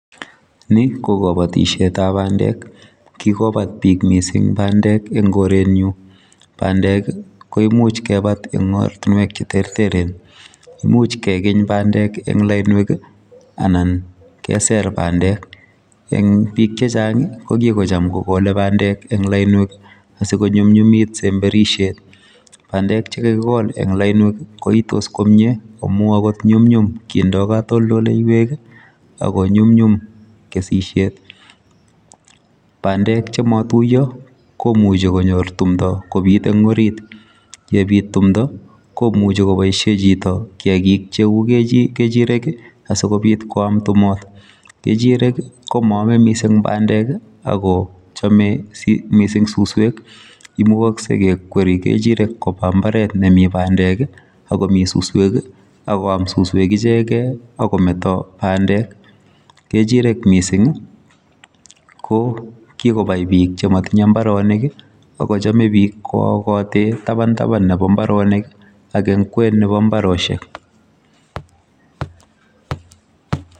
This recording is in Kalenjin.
Ni ko kabatishetab bandek. kikobat bik missing bandek eng korenyu, Bandek ko imuch kebat eng ortinwek cheterteren, imuch kenging bandek eng lainwek anan keser bandek eng bik chechang kokikocham kokol bandek eng lainwek sikunyunnyumik semberishet. Bandek che kakikol eng lainwek koistos komie ak ko nyumnyum kendoi katoldoloiwe ako nyunyum kesishet. Bandek chematuiyo komuchi konyor tundo kobit eng orit ye bit tundo komuchi koboishe chito kiyakik cheu kechirek asikobit koam tumotok. Kechirek ko moomei missing bandek ako chomei missing suswek imukoksei kekweri kechirek koba imbaret nemitei bandek ako mi suswek akoam suswek ichegei ak kometo bandek. Kechirek missing ko kikobai bik chematinyei mbaronik ako chomei bik koyakatei tabantaban nebo mbaronik ak eng kwen nebo mbaroshek.